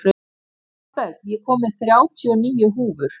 Hallberg, ég kom með þrjátíu og níu húfur!